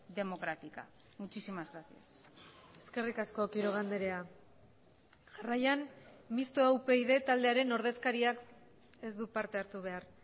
democrática muchísimas gracias eskerrik asko quiroga andrea jarraian mistoa upyd taldearen ordezkariak ez du parte hartu behar